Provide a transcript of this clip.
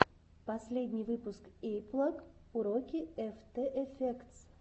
последний выпуск эйиплаг уроки эфтэ эфектс